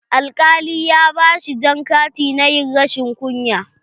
Alƙali ya ba shi jan kati na ƴin rashin kunya.